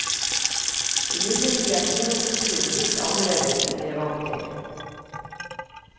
Imidlertid er kinokulturen litt anderledes enn vi er vant til.